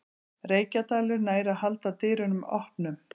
Reykjadalur nær að halda dyrunum opnum